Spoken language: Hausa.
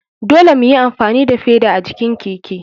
Dole muyi amfani da feda a jikin keke.